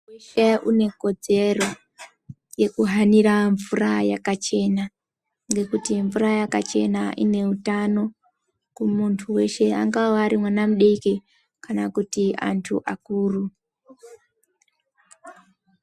Muntu weshe ane kodzero yekuhanira mvura yakachena ngekuti mvura yakachena ine hutano kumuntu weshe angava ari mwana mudoko kana antu akuru .